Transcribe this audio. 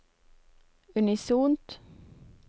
unisont